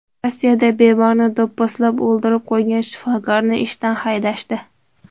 Rossiyada bemorni do‘pposlab o‘ldirib qo‘ygan shifokorni ishdan haydashdi.